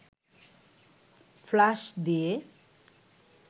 flush দিয়ে